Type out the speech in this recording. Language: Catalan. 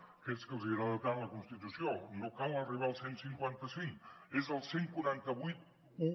a aquells a qui els agrada tant la constitució no cal arribar al cent i cinquanta cinc és el catorze vuitanta u